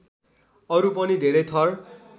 अरु पनि धेरै थर